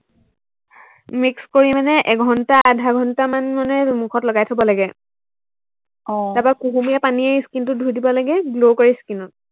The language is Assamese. mix কৰি মানে এঘন্টা আধাঘন্টামান মানে মুখত লগাই থব লাগে আহ তাৰপৰা কুহুমীয়া পানীৰে skin টো ধুই দিব লাগে, glow কৰে skin ত